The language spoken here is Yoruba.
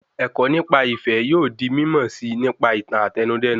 Ẹ̀kọ́ nípa ìfẹ yóò di mímọ̀ síi nípa ìtàn Àtẹnudẹ́nu